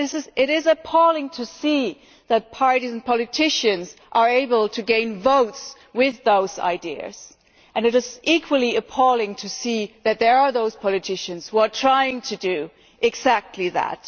It is appalling to see that parties and politicians are able to gain votes with those ideas, and equally appalling to see that there are politicians trying to do exactly that.